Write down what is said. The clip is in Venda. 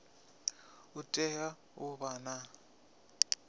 u tea u vha na